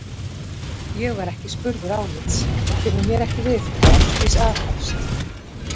Ég var ekki spurður álits, enda kemur mér ekki við hvað Ásdís aðhefst.